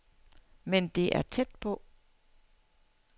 Men det er tæt på.